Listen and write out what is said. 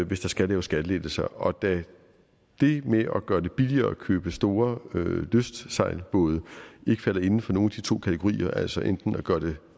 hvis der skal laves skattelettelser og da det med at gøre det billigere at købe store lystsejlbåde ikke falder inden for nogen af de to kategorier altså enten at gøre det